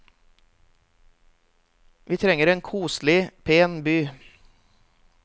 Vi trenger en koselig, pen by.